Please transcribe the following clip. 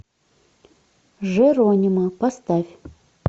джеронимо поставь